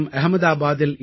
அஹ்மதாபாதில் M